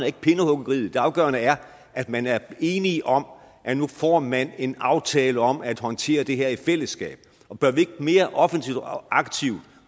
ikke pindehuggeriet det afgørende er at man er enige om at nu får man en aftale om at håndtere det her i fællesskab bør vi ikke mere offensivt og aktivt